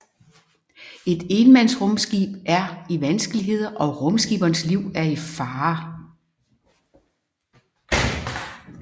Et énmandsrumskib er i vanskeligheder og rumskipperens liv er i fare